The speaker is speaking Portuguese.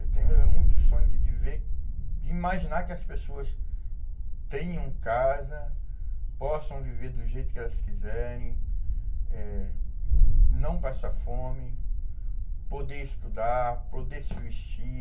Eu tenho é muito sonho de de ver, de imaginar que as pessoas tenham casa, possam viver do jeito que elas quiserem, eh não passar fome, poder estudar, poder se vestir.